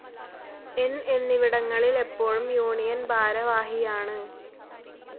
ന്‌ എന്നിവിടങ്ങളിൽ എപ്പോഴും യൂണിയൻ ഭാരവാഹിയാണ്.